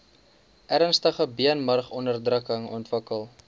ernstige beenmurgonderdrukking ontwikkel